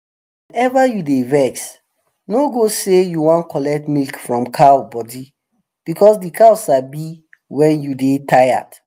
whenever you dey vex no go say you wan collect milk from cow body because de cow sabi when you dey tired